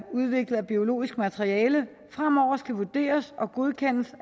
udviklet af biologisk materiale fremover skal vurderes og godkendes